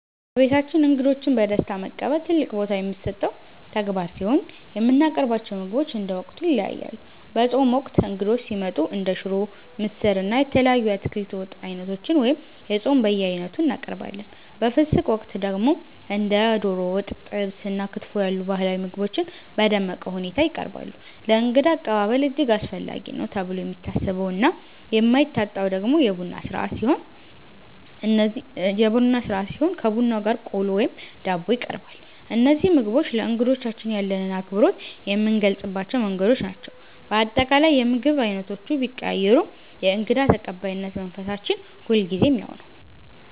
በቤታችን እንግዶችን በደስታ መቀበል ትልቅ ቦታ የሚሰጠው ተግባር ሲሆን፣ የምናቀርባቸው ምግቦች እንደ ወቅቱ ይለያያሉ። በጾም ወቅት እንግዶች ሲመጡ እንደ ሽሮ፣ ምስር፣ እና የተለያዩ የአትክልት ወጥ ዓይነቶችን (የጾም በየዓይነቱ) እናቀርባለን። በፍስግ ወቅት ደግሞ እንደ ዶሮ ወጥ፣ ጥብስ እና ክትፎ ያሉ ባህላዊ ምግቦች በደመቀ ሁኔታ ይቀርባሉ። ለእንግዳ አቀባበል እጅግ አስፈላጊ ነው ተብሎ የሚታሰበውና የማይታጣው ደግሞ የቡና ሥርዓት ሲሆን፣ ከቡናው ጋር ቆሎ ወይም ዳቦ ይቀርባል። እነዚህ ምግቦች ለእንግዶቻችን ያለንን አክብሮት የምንገልጽባቸው መንገዶች ናቸው። በአጠቃላይ፣ የምግብ ዓይነቶቹ ቢቀያየሩም የእንግዳ ተቀባይነት መንፈሳችን ሁልጊዜም ያው ነው።